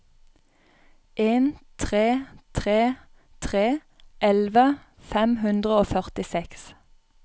en tre tre tre elleve fem hundre og førtiseks